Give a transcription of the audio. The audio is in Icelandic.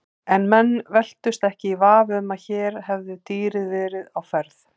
En menn velktust ekki í vafa um að hér hefði dýrið verið á ferð.